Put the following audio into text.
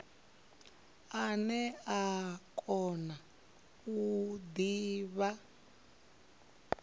ane a kona u divha